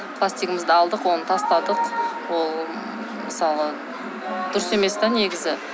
пластигымызды алдық оны тастадық ол мысалы дұрыс емес те негізі